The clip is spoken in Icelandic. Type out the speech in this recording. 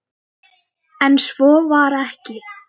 Enn svo var ekki.